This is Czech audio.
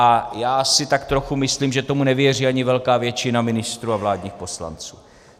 A já si tak trochu myslím, že tomu nevěří ani velká většina ministrů a vládních poslanců.